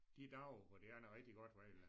De dage hvor det er noget rigtig godt vejr